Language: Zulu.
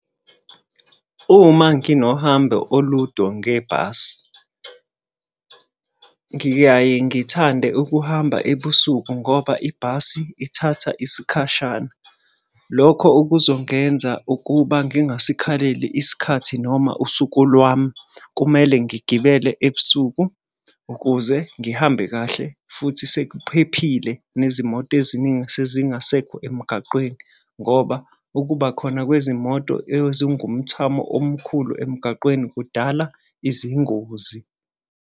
Uma nginohambo oludo ngebhasi, ngiyaye ngithande ukuhamba ebusuku ngoba ibhasi ithatha isikhashana. Lokho kuzongenza ukuba ngingasikhaleli isikhathi noma usuku lwami. Kumele ngigibele ebusuku ukuze ngihambe kahle, futhi sekuphephile nezimoto eziningi sezingasekho emgaqweni ngoba ukuba khona kwezimoto ezingumthamo omkhulu emgaqweni kudala izingozi.